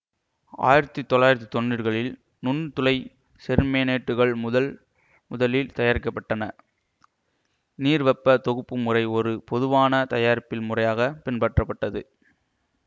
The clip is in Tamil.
ஆயிரத்தி தொள்ளாயிரத்தி தொன்னுறுகளில் நுண்துளை செர்மேனேட்டுகள் முதல் முதலில் தயாரிக்க பட்டன நீர்வெப்பத் தொகுப்பு முறை ஒரு பொதுவான தயாரிப்பில் முறையாக பின்பற்றப்பட்டது